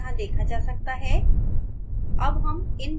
एक आउटपुट यहाँ देखा जा सकता है